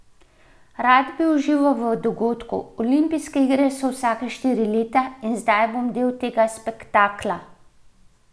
Rad bi užival v dogodku, olimpijske igre so vsaka štiri leta in zdaj bom del tega spektakla.